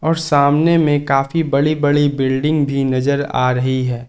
और सामने में काफी बड़ी बड़ी बिल्डिंग भी नजर आ रही है।